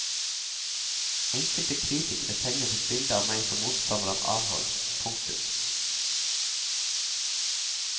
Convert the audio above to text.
Enkelte kritikere tegnet et bilde av meg som motstander av avhold. punktum